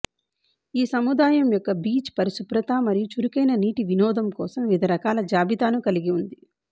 ఈ సముదాయం యొక్క బీచ్ పరిశుభ్రత మరియు చురుకైన నీటి వినోదం కోసం వివిధ రకాల జాబితాను కలిగి ఉంది